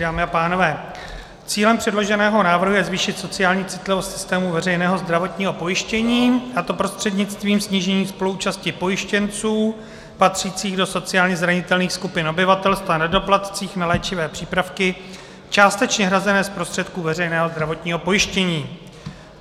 Dámy a pánové, cílem předloženého návrhu je zvýšit sociální citlivost systému veřejného zdravotního pojištění, a to prostřednictvím snížení spoluúčasti pojištěnců patřících do sociálně zranitelných skupin obyvatelstva na doplatcích na léčivé přípravky částečně hrazené z prostředků veřejného zdravotního pojištění.